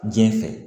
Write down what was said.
Diɲɛ fɛ